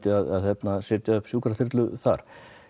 að setja upp sjúkraþyrlu þar